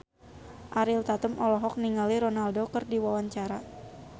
Ariel Tatum olohok ningali Ronaldo keur diwawancara